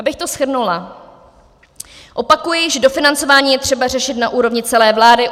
Abych to shrnula, opakuji, že dofinancování je třeba řešit na úrovni celé vlády.